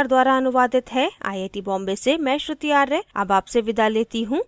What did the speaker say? यह स्क्रिप्ट प्रभाकर द्वारा अनुवादित है आई आई टी बॉम्बे से मैं श्रुति आर्य अब आपसे विदा लेती हूँ